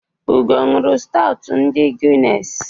Ugo ṅụụrụ stawtụ ndị Guiness.